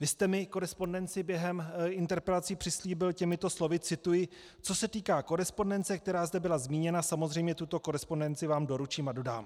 Vy jste mi korespondenci během interpelací přislíbil těmito slovy - cituji: "Co se týká korespondence, která zde byla zmíněna, samozřejmě tuto korespondenci vám doručím a dodám."